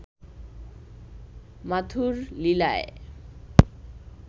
মাথুর লীলায়